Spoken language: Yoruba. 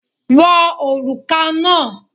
Wọ òrùka náà!